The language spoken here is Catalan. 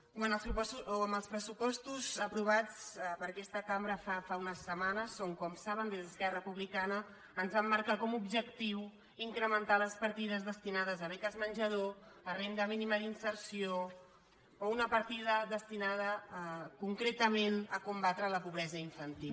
i en els pressupostos aprovats per aquesta cambra fa unes setmanes com saben des d’esquerra republi·cana ens vam marcar com a objectiu incrementar les partides destinades a beques menjador a renda míni·ma d’inserció o una partida destinada concretament a combatre la pobresa infantil